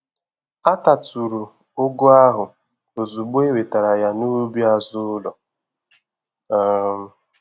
Atatụrụ ụgụ ahụ ozugbo e wetara ya n'ubi azụ ụlọ um